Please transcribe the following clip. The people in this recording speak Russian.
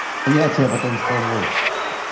а я тебе потом скажу